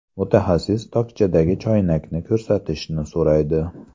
Mutaxassis tokchadagi choynakni ko‘rsatishni so‘raydi.